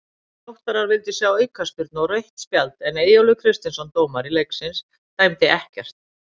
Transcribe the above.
Þróttarar vildu sjá aukaspyrnu og rautt spjald en Eyjólfur Kristinsson dómari leiksins dæmdi ekkert.